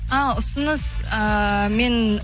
ааа ұсыныс ііі мен